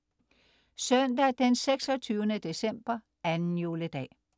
Søndag den 26. december - 2. juledag